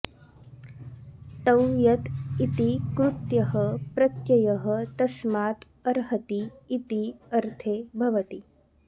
तव्यत् इति कृत्यः प्रत्ययः तस्मात् अर्हति इति अर्थे भवति